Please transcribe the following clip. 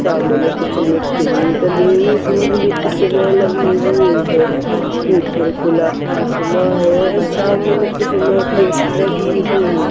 सामने कुछ मिट्टी डली धुब भी इसमे लगी हुई हैं ऊपर खुला आसमान है सामने इसमे पेटी लगी हुई --